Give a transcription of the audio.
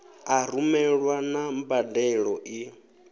u rumelwa na mbadelo i